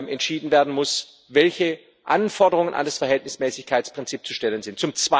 entschieden werden muss, welche Anforderungen an das Verhältnismäßigkeitsprinzip zu stellen sind.